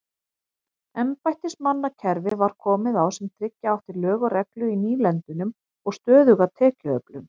Embættismannakerfi var komið á sem tryggja átti lög og reglu í nýlendunum og stöðuga tekjuöflun.